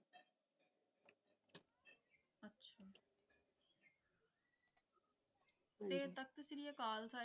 ਤੇ ਤਖ਼ਤ ਸ੍ਰੀ ਅਕਾਲ